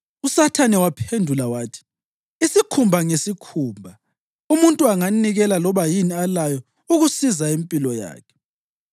USathane waphendula wathi, “Isikhumba ngesikhumba! Umuntu anganikela loba yini alayo ukusiza impilo yakhe.